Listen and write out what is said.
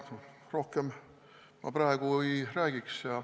Rohkem ma praegu ei räägiks.